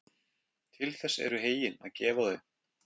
Til þess eru heyin að gefa þau.